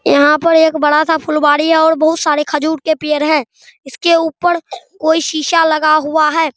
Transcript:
यहाँ पर एक बड़ा सा फुलवाड़ी है और बहुत सारे खजूर के पेड़ है इसके ऊपर कोई सीसा लगा हुआ है।